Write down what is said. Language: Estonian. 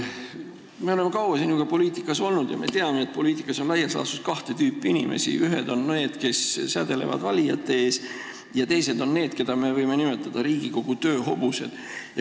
Me oleme kaua sinuga poliitikas olnud ja me teame, et poliitikas on laias laastus kahte tüüpi inimesi: ühed on need, kes sädelevad valijate ees, ja teised on need, keda me võime nimetada Riigikogu tööhobusteks.